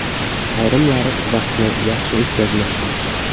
Ayrimlari vaqtni yaxshi o‘tkazmoqda.